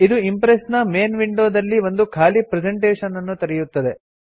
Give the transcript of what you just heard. ಇದು ಇಂಪ್ರೆಸ್ ನ main window ದಲ್ಲಿ ಒಂದು ಖಾಲಿ ಪ್ರೆಸೆಂಟೇಷನ್ ಅನ್ನು ತೆರೆಯುತ್ತದೆ